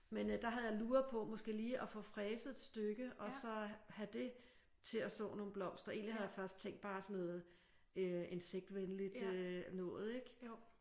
Men øh der havde jeg luret på måske lige at få fræset et stykke og så have det til at så nogle blomster egentlig havde jeg først tænkt bare sådan noget øh insektvenligt noget ik?